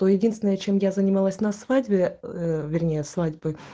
то единственное чем я занималась на свадьбе ээ вернее свадьбы